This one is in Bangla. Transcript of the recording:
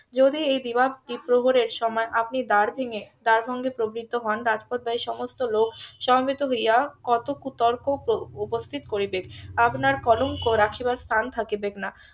যদি এই দিবা দ্বিপ্রহরে সময় আপনি দ্বার ভেঙে'দ্বার ভেঙ্গে প্রবৃত্ত হন রাজপথের সমস্ত লোক সমবেত হইয়া কত কুতর্ক উপস্থিত করিবেক আপনার কলঙ্ক রাখিবার স্থান থাকিবেক না